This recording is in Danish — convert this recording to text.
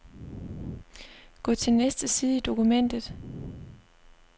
Gå til næste side i dokumentet.